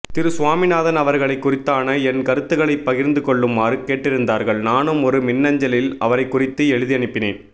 திரு சுவாமினாதன் அவர்களை குறித்தான என் கருத்துக்களை பகிர்ந்துகொள்ளுமாறு கேட்டிருந்தார்கள் நானும் ஒரு மின்னஞ்சலில் அவரைக்குறித்து எழுதியனுப்பினேன்